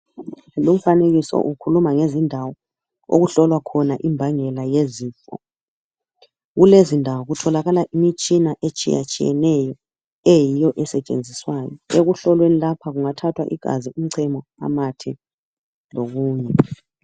Lumfanekiso ukhuluma ngezindawo okuhlolwa khona imbangela yezifo, kulezindawo kutholakala imitshina etshiyatshiyeneyo eyiyoesentshenziswayo ekuhlolweni lapha kungathathwa igazi, umcemo lokunye.